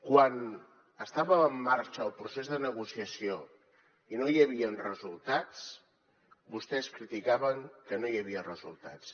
quan estava en marxa el procés de negociació i no hi havien resultats vostès criticaven que no hi havia resultats